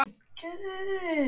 Högg eins og þetta hjálpa